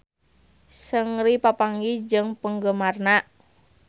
Seungri papanggih jeung penggemarna